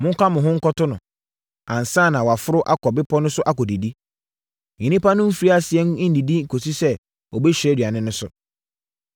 Monka mo ho nkɔto no, ansa na waforo akɔ bepɔ no so akɔdidi. Nnipa no mfiri aseɛ nnidi kɔsi sɛ ɔbɛhyira aduane no so.”